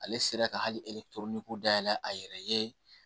Ale sera ka hali toni dayɛlɛ a yɛrɛ ye